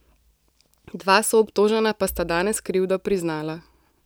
Dva soobtožena pa sta danes krivdo priznala.